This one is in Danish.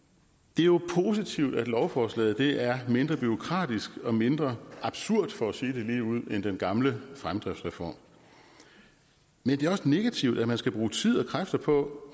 det er jo positivt at lovforslaget er mindre bureaukratisk og mindre absurd for at sige det ligeud end den gamle fremdriftsreform men det er også negativt at man skal bruge tid og kræfter på